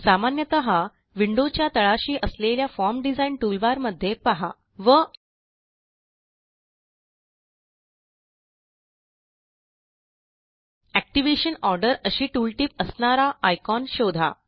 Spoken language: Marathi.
सामान्यतः विंडोच्या तळाशी असलेल्या फॉर्म डिझाइन टूलबार मध्ये पहा व एक्टिव्हेशन ऑर्डर अशी टूलटिप असणारा आयकॉन शोधा